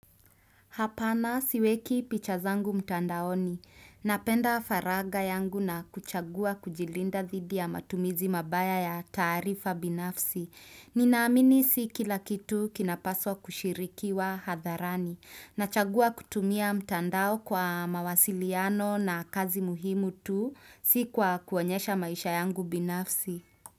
Hapana siweki picha zangu mtandaoni. Napenda faraga yangu na kuchagua kujilinda thidi ya matumizi mabaya ya tarifa binafsi. Ninaamini si kila kitu kinapaswa kushirikiwa hadharani. Nachagua kutumia mtandao kwa mawasiliano na kazi muhimu tu si kwa kuonyesha maisha yangu binafsi.